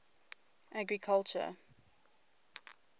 agriculture